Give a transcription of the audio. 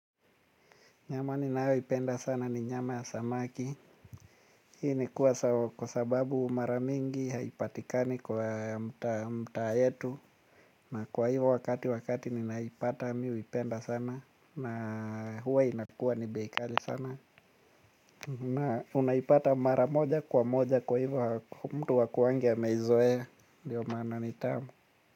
Nyama ninayo ipenda sana ni nyama ya samaki. Hii ni kwa kwa sababu mara mingi haipatikani kwa mtaa yetu. Na kwahivyo wakati wakati ninaipata mi huipenda sana. Na huwa inakua ni bei kali sana. Na unaipata maramoja kwa moja kwa hivyo mtu hakuangi ameizoea. Ndiyo maana ni tamu.